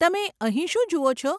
તમે અહીં શું જુઓ છો?